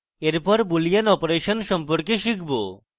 এরপর আমরা boolean operation সম্পর্কে শিখব